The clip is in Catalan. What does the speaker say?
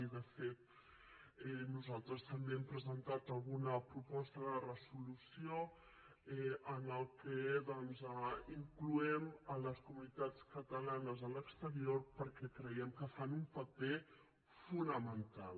i de fet nosaltres també hem presentat alguna proposta de resolució en què incloem les comunitats catalanes a l’exterior perquè creiem que fan un paper fonamental